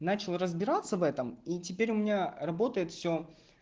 начал разбираться в этом и теперь у меня работает всё